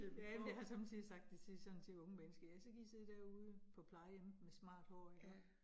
Ja, men jeg har somme tider sagt det til sådan til unge mennesker, ja så kan I sidde derude på plejehemmet med smart hår iggå